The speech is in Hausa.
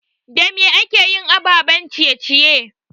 Da me akeyin ababen ciye ciye?